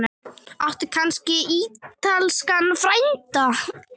Áttu kannski ítalskan frænda?